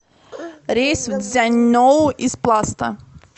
рейс в цзяньоу из пласта